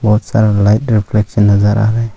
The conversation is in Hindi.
बहोत सारा लाइट रिफ्लेक्शन नजर आ रहा हैं।